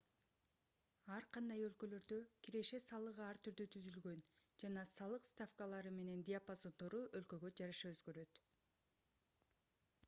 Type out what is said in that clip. ар кандай өлкөлөрдө киреше салыгы ар түрдүү түзүлгөн жана салык ставкалары менен диапазондору өлкөгө жараша өзгөрөт